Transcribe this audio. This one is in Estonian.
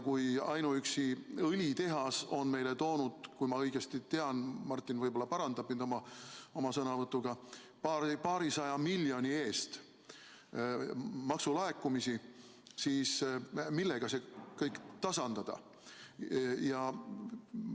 Kui ainuüksi õlitehas on meile toonud, kui ma õigesti tean , paarisaja miljoni eest maksulaekumisi, siis millega see kõik tasandada?